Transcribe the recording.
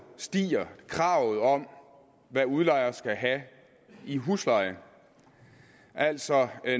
stiger kravet om hvad udlejer skal have i husleje altså